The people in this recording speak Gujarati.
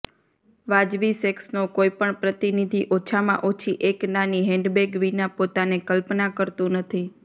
વાજબી સેક્સનો કોઈ પણ પ્રતિનિધિ ઓછામાં ઓછી એક નાની હેન્ડબેગ વિના પોતાને કલ્પના કરતું નથી